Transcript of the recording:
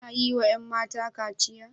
Ana yi wa 'yan mata kachiya?